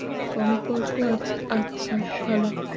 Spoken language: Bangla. সম্পর্ক আছে আচ্ছা ভালো।